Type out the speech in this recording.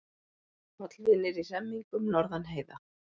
Hollvinir í hremmingum norðan heiða